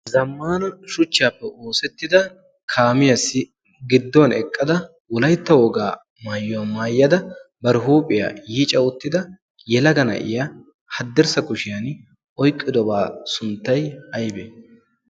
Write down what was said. zammana shuchchyaappe oosettida kaamiyaassi giddon eqqada ulaitta wogaa maayuwaa maayyada bar huuphiyaa yiica uttida yelaga na'iya haddirssa kushiyan oyqqidobaa sunttay aybee